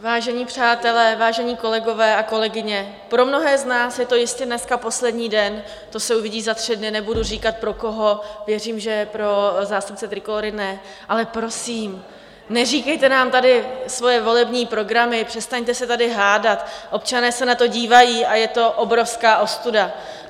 Vážení přátelé, vážení kolegové a kolegyně, pro mnohé z nás je to jistě dneska poslední den - to se uvidí za tři dny, nebudu říkat pro koho, věřím, že pro zástupce Trikolóry ne - ale prosím, neříkejte nám tady svoje volební programy, přestaňte se tady hádat, občané se na to dívají a je to obrovská ostuda.